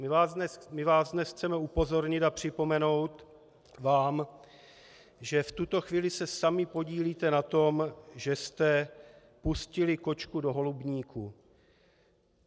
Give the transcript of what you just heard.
My vás dnes chceme upozornit a připomenout vám, že v tuto chvíli se sami podílíte na tom, že jste pustili kočku do holubníku.